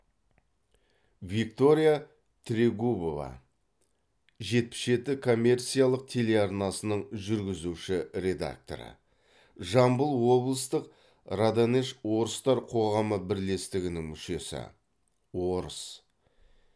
виктория трегубова жетпіс жеті коммерциялық телеарнасының жүргізуші редакторы жамбыл облыстық раданеж орыстар қоғамы бірлестігінің мүшесі орыс